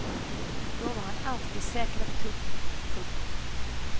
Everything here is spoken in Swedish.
Då var han alltid säker och tuff. punkt